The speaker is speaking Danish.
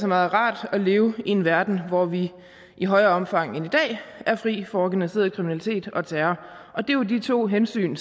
meget rart at leve i en verden hvor vi i højere omfang end i dag er fri for organiseret kriminalitet og terror og det er jo de to hensyn